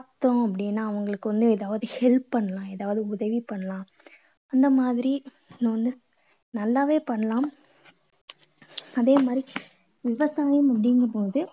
பார்த்தோம் அப்படீன்னா அவங்களுக்கு வந்து ஏதாவது help பண்ணலாம். ஏதாவது உதவி பண்ணலாம். அந்த மாதிரி நாம வந்து நல்லாவே பண்ணலாம். அதே மாதிரி விவசாயம் அப்படீங்கும் போது